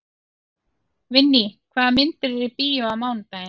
Vinný, hvaða myndir eru í bíó á mánudaginn?